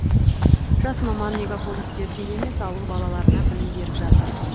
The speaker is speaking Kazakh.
жас маман мегаполистерде емес ауыл балаларына білім беріп жатыр